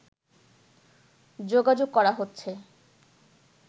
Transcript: যোগাযোগ করা হচ্ছে